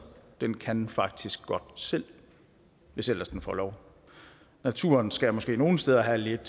den kan faktisk godt selv hvis ellers den får lov naturen skal måske nogle steder have lidt